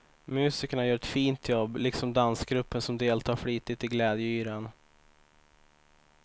Musikerna gör ett fint jobb, liksom dansgruppen som deltar flitigt i glädjeyran.